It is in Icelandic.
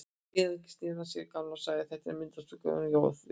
Síðan sneri hann sér að Gamla og sagði: Þetta er myndarstúlka, hún Jóra dóttir þín.